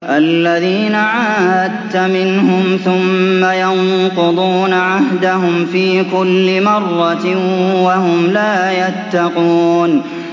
الَّذِينَ عَاهَدتَّ مِنْهُمْ ثُمَّ يَنقُضُونَ عَهْدَهُمْ فِي كُلِّ مَرَّةٍ وَهُمْ لَا يَتَّقُونَ